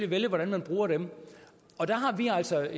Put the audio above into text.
vælge hvordan man bruger dem der har vi altså